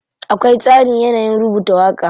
Akwai tsarin yanayin rubuta waƙa.